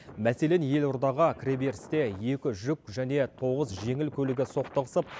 мәселен елордаға кіреберісте екі жүк және тоғыз жеңіл көлігі соқтығысып